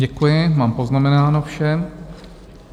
Děkuji, mám poznamenáno vše.